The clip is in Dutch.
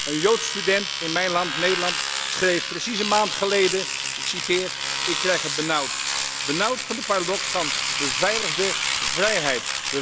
Een joods student in mijn land, Nederland, schreef precies een maand geleden Ik krijg het benauwd, benauwd van de paradox van beveiligde vrijheid.